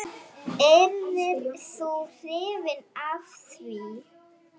Yrðir þú hrifinn af því?